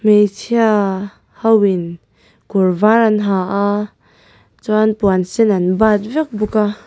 hmeichhia ho in kawr var an ha a chuan puan sen an bat vek bawk a.